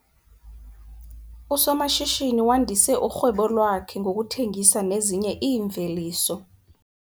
Usomashishini wandise urhwebo lwakhe ngokuthengisa nezinye iimveliso